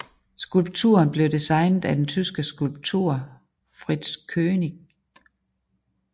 Skulpturen blev designet af den tyske skulptør Fritz Koenig